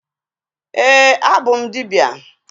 Ee, abụ m dibịa.